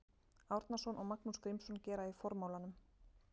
Árnason og Magnús Grímsson gera í formálanum.